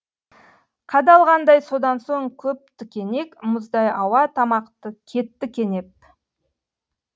қадалғандай содан соң көп тікенек мұздай ауа тамақты кетті кенеп